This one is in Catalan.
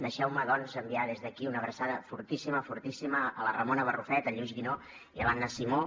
deixeu me doncs enviar des d’aquí una abraçada fortíssima fortíssima a la ramona barrufet al lluís guinó i a l’anna simó